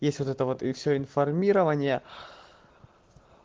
есть вот это вот и всё информирование